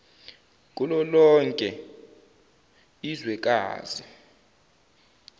kulo lonke izwekazi